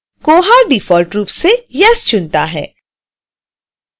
koha default रूप से yes चुनता है